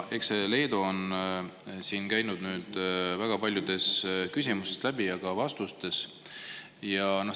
Eks see Leedu ole käinud väga paljudest küsimustest ja ka vastustest läbi.